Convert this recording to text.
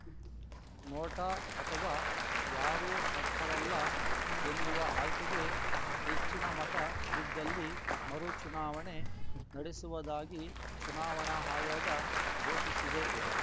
NOTA ಅಥವಾ ಯಾರೂ ಅರ್ಹರಲ್ಲ ಎನ್ನುವ ಆಯ್ಕೆಗೆ ಹೆಚ್ಚಿನ ಮತ ಬಿದ್ದಲ್ಲಿ ಮರು ಚುನಾವಣೆ ನಡೆಸುವುದಾಗಿ ಚುನಾವಣಾ ಆಯೋಗ ಘೋಷಿಸಿದೆ